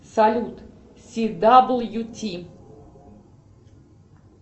салют си дабл ю ти